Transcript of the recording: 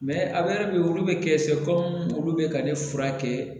a yɛrɛ bɛ olu bɛ kɛ fɛ ko olu bɛ ka ne furakɛ